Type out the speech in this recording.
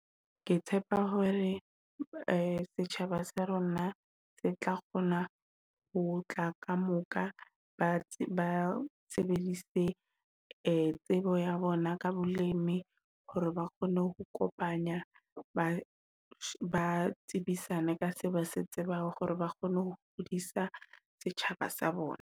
Ke tshepa hore setjhaba sa rona se tla kgona ho tla ka moka. Ba ba sebedise tsebo ya bona ka bolemi hore ba kgone ho kopanya, ba tsebisane ka se ba se tsebang hore ba kgone ho kgodisa setjhaba sa bona.